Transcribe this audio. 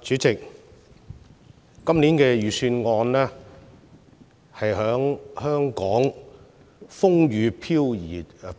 主席，今年的財政預算案是在香港風雨飄搖的